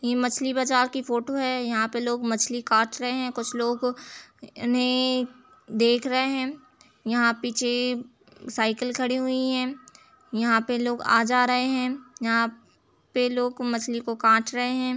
ये मछली बाजार की फोटो है यहां पर लोग मछली काट रहे हैं कुछ लोग उन्हें देख रहे हैं यहां पीछे साइकिल खड़ी हुई है यहां पे लोग आ जा रहे हैं यहां पे लोग मछली को काट रहे है ।